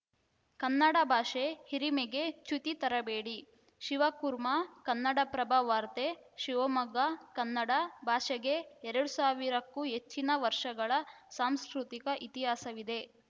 ಕನ್ನಡ ಭಾಷೆ ಹಿರಿಮೆಗೆ ಚ್ಯುತಿ ತರಬೇಡಿ ಶಿವಕುರ್ಮಾ ಕನ್ನಡಪ್ರಭ ವಾರ್ತೆ ಶಿವಮೊಗ್ಗ ಕನ್ನಡ ಭಾಷೆಗೆ ಎರಡ್ ಸಾವಿರಕ್ಕೂ ಹೆಚ್ಚಿನ ವರ್ಷಗಳ ಸಾಂಸ್ಕೃತಿಕ ಇತಿಹಾಸವಿದೆ